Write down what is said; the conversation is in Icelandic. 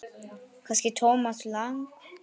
Kannski Thomas Lang.?